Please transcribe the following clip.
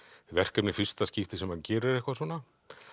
verkefni í fyrsta skipti sem hann gerir eitthvað svona